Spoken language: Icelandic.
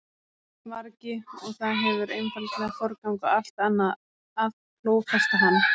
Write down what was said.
vargi og það hefur einfaldlega forgang á allt annað að klófesta hann.